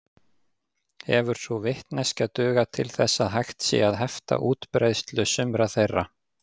Hefur sú vitneskja dugað til þess að hægt sé að hefta útbreiðslu sumra þeirra.